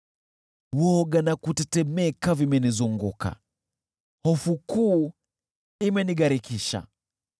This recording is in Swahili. Woga na kutetemeka vimenizunguka, hofu kuu imenigharikisha.